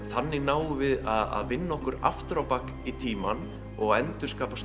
þannig náum við að vinna okkur aftur á bak í tímann og endurskapa